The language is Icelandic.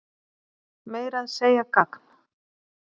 Meira að segja gagn.